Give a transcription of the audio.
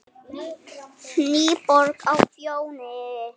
NÝBORG Á FJÓNI,